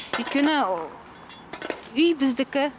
өйткені үй біздікі